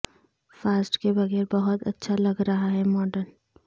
fast کے بغیر بہت اچھا لگ رہا ہے ماڈل